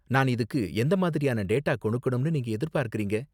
நான் இதுக்கு எந்த மாதிரியான டேட்டா கொடுக்கணும்னு நீங்க எதிர்பார்க்கறீங்க?